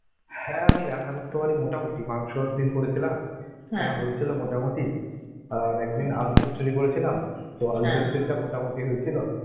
হ্যাঁ আমি রান্না করতে পারি মোটামুটি মাংস একদিন করেছিলাম হয়েছিল মোটা মুটি, আর একদিন আলু চচ্চড়ি করেছিলাম, তো আলু চচ্চড়ি টা মত মুটি হয়ে ছিল